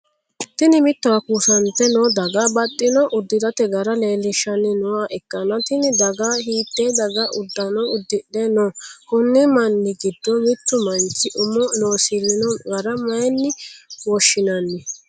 Tinni mittowa kuusante noo daga baxino udirate gara leelishanni nooha ikanna tinni daga hiitee daga udano udidhe no? Konni manni gido mitu manchi umo loosirino gara mayinne woshinnanni?